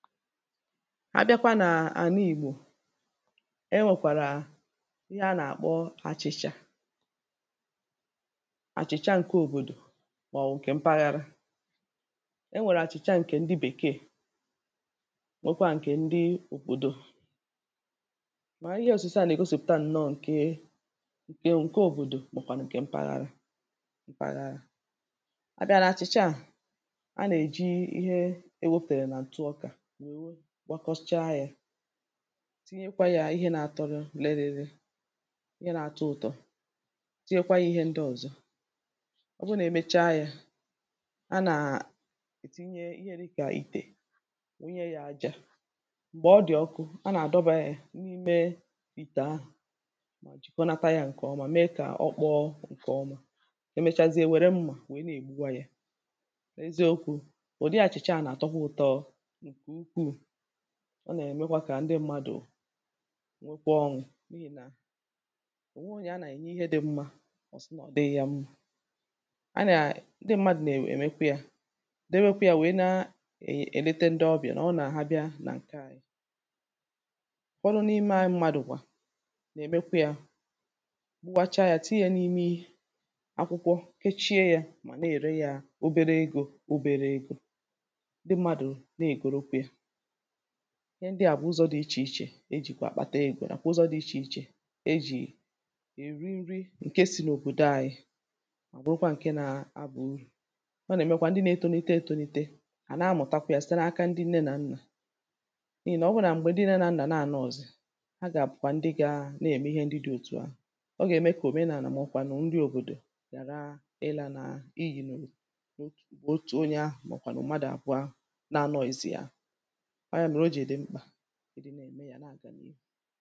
A bịakwa n’àla ìgbò e nwèkwàrà ihe a nà-àkpọ achị̇chà. Achìcha ǹke òbòdò màọ̀wụ̀ ǹkè mpaghara. E nwèrè àchìcha ǹkè ndị bèkeè, nwekwaa ǹkè ndị òbòdò. Mà ihe òsise à nà-ègosìpụ̀ta ǹnọọ̇ ǹke ǹke òbòdò màkwà nà ǹkè mpaghara mpaghara. A bịa na achị̇cha, a nà-èji ihe e wepuru nà ntụ ọkụ, nwèrè gbakpochicha yà tinyekwa yȧ ihe na-àtọ, lee ri ri ri, ihe na-atọ ụtọ, tinyekwa yȧ ihe ndị ọzọ. ọ bụrụ na-emecha yȧ a na-etinye ihe di kà itè wunye yȧ aja, m̀gbè ọ dị̀ ọkụ a na-adọba yȧ n’ime itè ahụ̀ma jikọnata yȧ ǹkèọma, mee kà ọ kpọọ ǹkèọma. Emechazie e wère mmà wee na-ègbuwa yȧ. Eziokwu̇ ụ̀dị achị̇cha a na-àtọkwa ụtọọ ọ nkè ukwùu, nà-èmekwa kà ndị mmadụ̀ nwėkwa ọṅụ̀ n’ihi nà ò nweghi onyė a nà-ènye ihe dị mmȧ ọsi na ọ̀ dịghị̇ yȧ mma. A nà ndị mmadụ nà-èmekwa yȧ dịwekwa ya nwèe na-èlete ndị ọbịà nà ọ nà ha bịa nà ǹke anyị. Ufọdùn’ime anyị mmadụ bù nà-èmekwa yȧ gbúwacha yȧ, tinye ya n’ime akwụkwọ kechie yȧ mà na-ère ya obere egȯ obere egȯ, ndị mmadụ̀ na-ègoro kwe ya. Ihe ndị à bụ̀ ụzọ̇ dị̇ ichè ichè e jìkwà àkpàtà ego na kwȧ ụzọ̇ dị̇ ichè ichè e jì è ri nri̇ ǹke si̇ n’òbòdò ànyị mà bụrụkwa ǹke na abȧ urù. ọ nà-èmekwa ndị na-etȯnite etȯnite hà na-amụ̀takwa yȧ site n’aka ndị nne nà nnà, n’ihì nà ọ bụru nà m̀gbè dị na nnà na-ànọzị,̀ a gà-àbụ̀kwà ndị gȧȧ na-ème ihe ndị dị̇ òtù ahụ.̀ ọ gà-ème kà òmenàlà màobụ kwanụ nri òbòdò ghàra ịlȧ nà i iyì nà otù otù onye ahụ̀ màobụ̀kwà nụ̀màdụ̀ àbuà na-